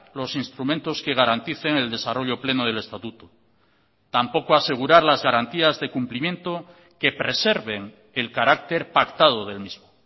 los instrumentos que garanticen el desarrollo pleno del estatuto tampoco asegurar las garantías de cumplimiento que preserven el carácter pactado del mismo